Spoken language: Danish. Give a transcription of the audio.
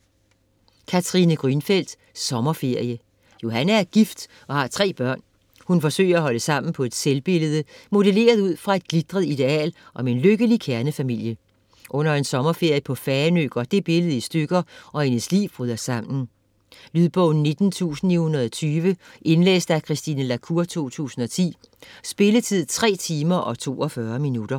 Grünfeld, Katrine: Sommerferie Johanne er gift og har tre børn. Hun forsøger at holde sammen på et selvbillede, modelleret ud fra et glitret ideal om en lykkelig kernefamilie. Under en sommerferie på Fanø går det billede i stykker, og hendes liv bryder sammen. Lydbog 19920 Indlæst af Christine La Cour, 2010. Spilletid: 3 timer, 42 minutter.